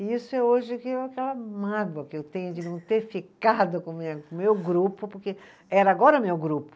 E isso é hoje aquela mágoa que eu tenho de não ter ficado com o meu grupo, porque era agora o meu grupo.